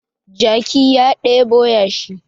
Jaki ya ɗebo yashi